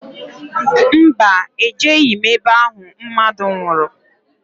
Mba, ejeghi m ebe ahụ mmadụ nwụrụ